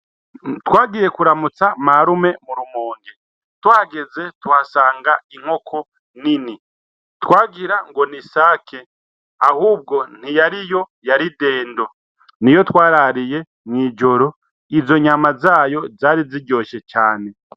Twagiye kuramutsa marume murumonte tuhageze tuhasanga inkoko nini twagira ngo ni sake ahubwo ntiyari yo yaridendo ni yo twarariye mw'ijoro izo nyama zayo zari ziryoshe cane.